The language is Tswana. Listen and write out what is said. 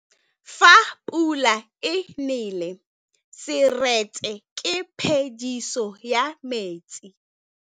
Fa pula e nelê serêtsê ke phêdisô ya metsi.